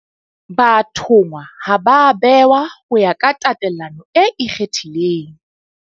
Bathonngwa ha ba a behwa ho ya ka tatelano e ikgethileng.